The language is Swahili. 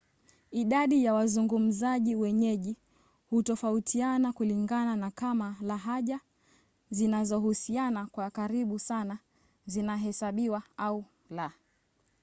idadi ya wazungumzaji wenyeji hutofautiana kulingana na kama lahaja zinazohusiana kwa karibu sana zinahesabiwa au la